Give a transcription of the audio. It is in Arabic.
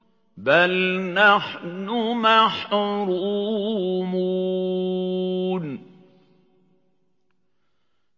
بَلْ نَحْنُ مَحْرُومُونَ